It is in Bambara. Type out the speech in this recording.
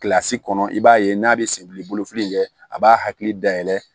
Kilasi kɔnɔ i b'a ye n'a bɛ senbili bolo fili kɛ a b'a hakili dayɛlɛ